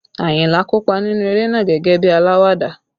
Ayinla kópa nínú eré náà gẹ́gẹ́ bí alawada